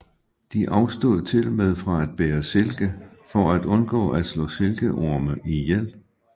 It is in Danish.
De afstod tilmed fra at bære silke for at undgå at slå silkeorme ihjel